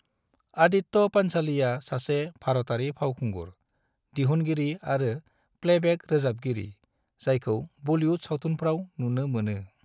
आदित्य पंचोलीआ सासे भारतारि फावखुंगुर, दिहुनगिरि आरो प्लेबेक रोजाबगिरि जायखौ बलिउद सावथुनफ्राव नुनो मोनो।